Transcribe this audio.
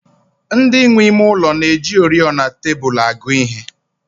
Ndị nwe ime ụlọ na-eji oriọna tebụl agụ ihe